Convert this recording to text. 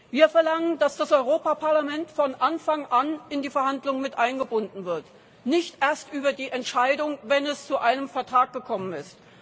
Wir verlangen, dass das Europäische Parlament von Anfang an in die Verhandlungen miteingebunden wird, nicht erst in die Entscheidung, wenn es zu einem Vertrag gekommen ist.